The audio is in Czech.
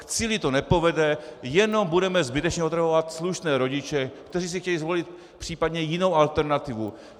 K cíli to nepovede, jenom budeme zbytečně otravovat slušné rodiče, kteří si chtějí zvolit případně jinou alternativu.